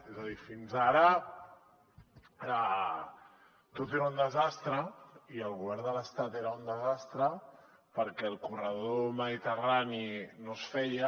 és a dir fins ara tot era un desastre i el govern de l’estat era un desastre perquè el corredor mediterrani no es feia